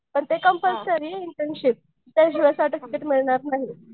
पण ते कंपलसरी आहे इंटर्नशिप त्याच्याशिवाय सर्टिफिकेट मिळणार नाहीये.